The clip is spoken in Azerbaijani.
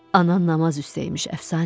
Anan namaz üstəyimiş, əfsanə.